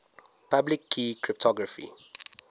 public key cryptography